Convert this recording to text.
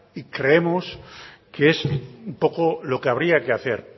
y creemos que es un poco lo que habría que hacer